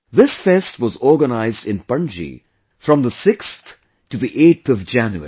This fest was organized in Panaji from 6 to 8 January